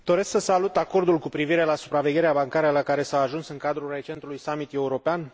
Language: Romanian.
Doresc să salut acordul cu privire la supravegherea bancară la care s a ajuns în cadrul recentului summit european.